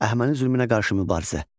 Əhəməni zülmünə qarşı mübarizə.